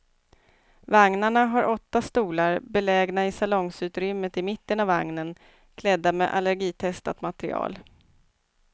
Vagnarna har åtta stolar, belägna i salongsutrymmet i mitten av vagnen, klädda med allergitestat material.